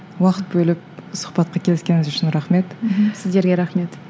уақыт бөліп сұхбатқа келіскеніңіз үшін рахмет мхм сіздерге рахмет